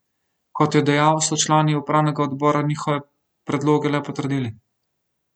Kot je dejal, so člani upravnega odbora njihove predloge le potrdili.